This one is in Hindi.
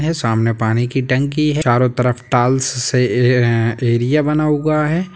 यह सामने पानी की टंकी है चारो तरफ टाइल्स से ए-ए-एरिया बना हुआ है।